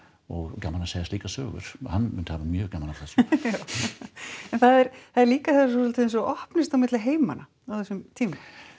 og gaman að segja slíkar sögur hann myndi hafa mjög gaman af þessu já en það er líka eins og opnist á milli heima á þessum tíma